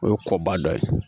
O ye kɔba dɔ ye